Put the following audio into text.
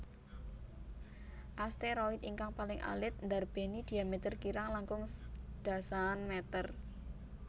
Asteroid ingkang paling alit ndarbéni dhiameter kirang langkung dasaan meter